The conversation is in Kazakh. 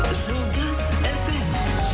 жұлдыз фм